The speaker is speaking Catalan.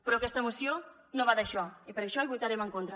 però aquesta moció no va d’això i per això hi votarem en contra